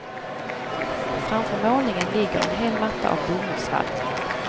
Framför målningen ligger en hel matta av bomullsvadd.